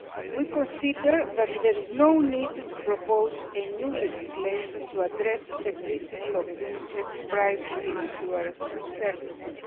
We consider that there is no need to propose new legislation to address the principle of unisex pricing in insurance services.